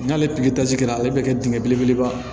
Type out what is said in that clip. N'ale pikiri tasi kɛra ale bɛ kɛ dingɛ belebeleba